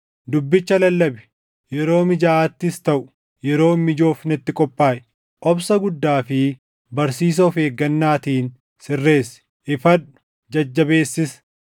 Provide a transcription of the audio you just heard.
Dubbicha lallabi; yeroo mijaaʼaattis taʼu yeroo hin mijoofnetti qophaaʼi; obsa guddaa fi barsiisa of eeggannaatiin sirreessi; ifadhu; jajjabeessis.